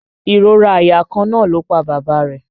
Ìrora àyà kan náà ló pa bàbá rẹ̀